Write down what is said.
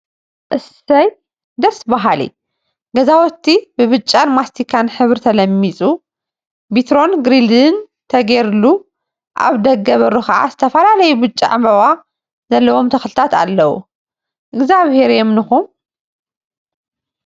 እሰይ! ደስ በሃሊ ገዘውቲ ብብጫን ማስቲካን ሕብሪ ተለሚፂ ቢትሮን ግሪድን ተገይሩሉ አብ ደገ በሩ ከዓ ዝተፈላለዩ ብጫ ዕምበባ ዘለዎም ተክሊታት አለወ፡፡ እግዚአብሄር የምንኩም፡፡